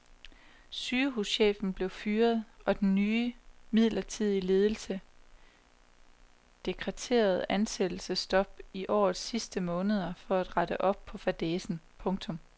Sygehuschefen blev fyret og den nye midlertidige ledelse dekreterede ansættelsesstop i årets sidste måneder for at rette op på fadæsen. punktum